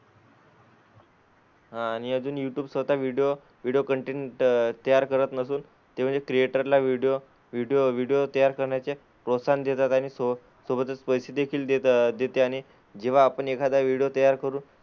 हां आणि अजून युट्युब स्वतः व्हिडिओ व्हिडिओ त कन्टेन्ट तयार करत नसून ते म्हणजे क्रिएटरला व्हिडीओ व्हिडिओ व्हिडिओ तयार करण्याचे प्रोत्साहन देतात, आणि सो सोबतच पैसे देखील देत देते आणि जेव्हा आपण एखादा व्हिडिओ तयार करून,